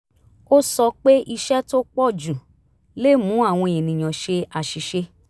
ó sọ pé iṣẹ́ tó pọ̀ jù lè mú àwọn ènìyàn ṣe àṣìṣe